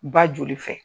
Ba joli fɛ